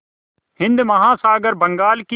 हिंद महासागर बंगाल की